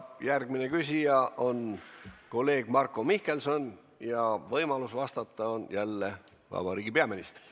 Järgmine küsija on kolleeg Marko Mihkelson ja võimalus vastata on jälle vabariigi peaministril.